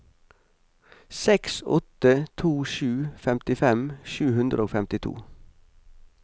seks åtte to sju femtifem sju hundre og femtito